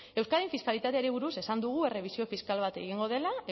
euskadin fiskalitateari buruz esan dugu errebisio fiskal bat egingo dela